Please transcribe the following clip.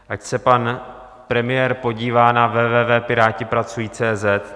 Ať se pan premiér podívá na www.piratipracuji.cz